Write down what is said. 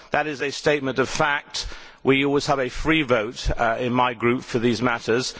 That is a statement of fact. We always have a free vote in my group for these matters.